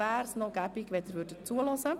Möglicherweise wäre es angezeigt, zuzuhören.